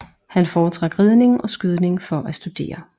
Han foretrak ridning og skydning for at studere